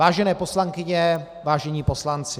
Vážené poslankyně, vážení poslanci.